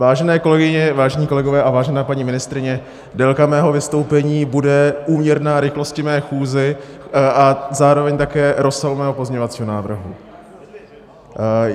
Vážené kolegyně, vážení kolegové a vážená paní ministryně, délka mého vystoupení bude úměrná rychlosti mé chůze a zároveň také rozsahu mého pozměňovacího návrhu.